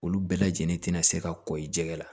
Olu bɛɛ lajɛlen tɛna se ka kɔ i jɛgɛ la